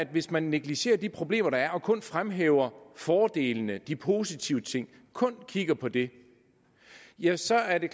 hvis man negligerer de problemer der er og man kun fremhæver fordelene de positive ting kun kigger på det ja så er det